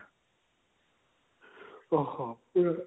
ଓହୋ